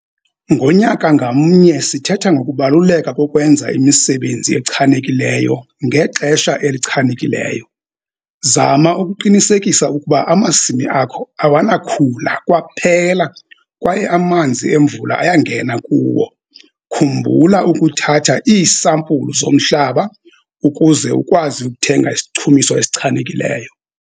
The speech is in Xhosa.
Ngonyaka ngamnye sithetha ngokubaluleka kokwenza imisebenzi echanekileyo ngexesha elichanekileyo - zama ukuqinisekisa ukuba amasimi akho awanakhula kwaphela kwaye amanzi emvula ayangena kuwo. Khumbula ukuthatha iisampulu zomhlaba ukuze ukwazi ukuthenga isichumiso esichanekileyo.